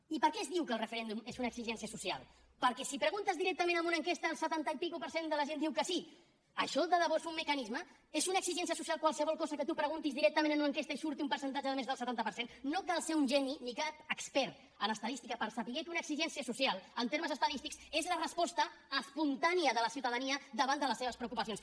i per què es diu que el referèndum és una exigència social perquè si ho preguntes directament en una enquesta el setanta per cent i escaig de la gent diu que sí això de debò és un mecanisme és una exigència social qualsevol cosa que tu preguntis directament en una enquesta i en surti un percentatge de més del setanta per cent no cal ser un geni ni cap expert en estadística per saber que una exigència social en termes estadístics és la resposta espontània de la ciutadania davant de les seves preocupacions